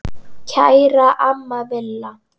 Kæra amma Villa.